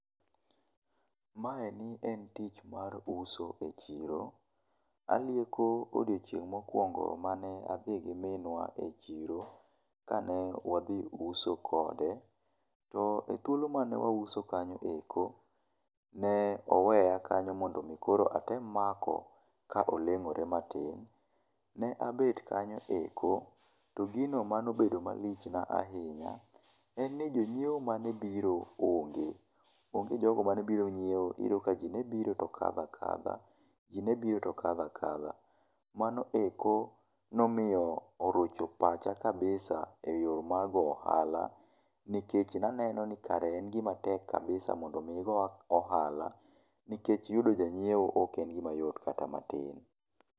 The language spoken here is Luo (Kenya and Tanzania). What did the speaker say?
Maeni e tich mar uso e chiro. Alieko odiochieng' mokuongo mane adhi gi minwa e chiro kane wadhi uso kode, to e thuolo mane wauso kanyo eko, ne oweya kanyo mondo mi koro atem mako ka oleng'ore matin. Ne abet kanyo eko, to gino mane obedo malichna ahinya, en jo nyiewo mane biro onge. Onge jogo mane biro nyiewo iyudo ka ji ne biro to kadho akadha, ji ne biro to kadho akadha. Mano eko nomiyo erocho pacha kabisa e yo mar go ohala nikech naneno ni kare en gima tek kabisa mondo mi igo ohala nikech yudo ja nyiepo ok yot kata matin.